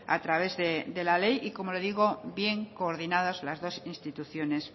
a través de la ley y como le digo bien coordinadas las dos instituciones